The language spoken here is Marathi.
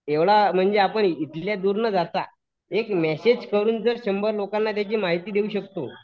एवढा म्हणजे आपण इथल्या दूर न जाता एक मॅसेज करून जर शंभर लोकांना त्याची माहिती देऊ शकतो.